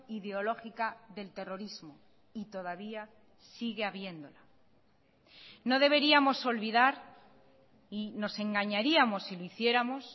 ideológica del terrorismo y todavía sigue habiéndola no deberíamos olvidar y nos engañaríamos si lo hiciéramos